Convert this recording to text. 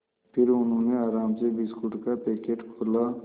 फिर उन्होंने आराम से बिस्कुट का पैकेट खोला